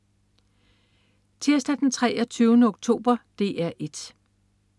Tirsdag den 23. oktober - DR 1: